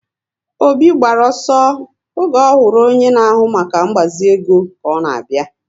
Obi gbara ọsọ oge ọhụrụ onye na ahụ maka ngbazi ego ka ọ na abịa